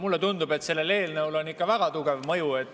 Mulle tundub, et sellel eelnõul on ikka väga tugev mõju.